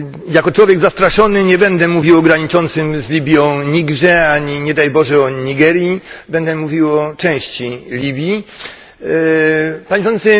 Jako człowiek zastraszony nie będę mówił o graniczącym z Libią Nigrze ani, nie daj Boże, o Nigerii, będę mówił o części Libii. Panie Przewodniczący!